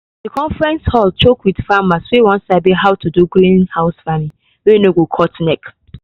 the conference hall choke with farmers wey wan sabi how to do greenhouse farming wey no go cut neck.